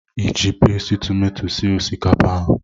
Iji pasti tomato sie osikapa ahụ?